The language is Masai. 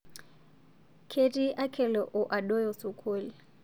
Ketii Akelo oo Adoyo sukul